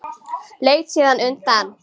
Leit síðan undan.